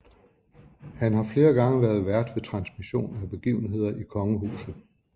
Han har flere gange været vært ved transmissioner af begivenheder i kongehuset